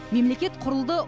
мемлекет құрылды